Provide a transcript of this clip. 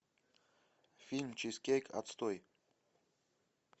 фильм чизкейк отстой